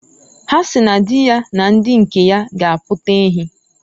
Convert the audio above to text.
Ha si na di ya na ndi nke ya ga akpụta ehi.